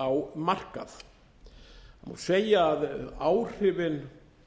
á markað það má segja að áhrifin